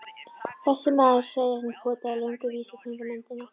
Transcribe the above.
Þessi maður, sagði hann og potaði löngum vísifingri í myndina.